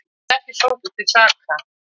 Lögreglumaður ekki sóttur til saka